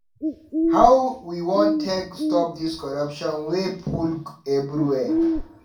How we wan take stop dis corruption wey full everywhere?